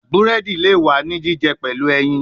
Buredi le wa ni jijẹ pẹlu ẹyin